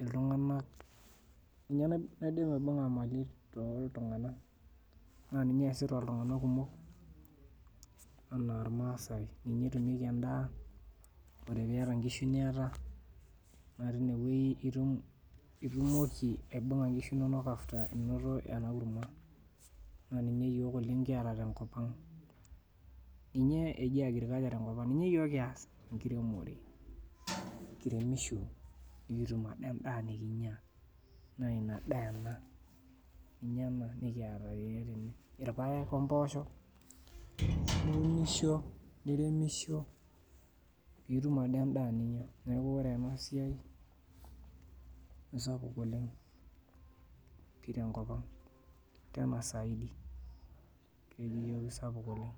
iltung'anak ninye naidim aibung'a imali toltung'ana naa ninye eesita iltung'ana kumok anaa irmaasae ninye etumieki endaa ore piata inkishu niata naa tine wuei itumoki aibung'a inkishu inonok after inoto ena kurma naa ninye iyiok oleng kiata tenkop ang ninye eji agriculture tenkop ang ninye iyiok kias enkiremore kiremisho nikitum ade endaa nekinyia naa ina daa ena ninye ena nikiata iyiok tene irpayek ompoosho niunisho niremisho piitum ade endaa ninyia neku ore ena siai aisapuk oleng pii tenkop ang tena zaidi kelio isapuk oleng.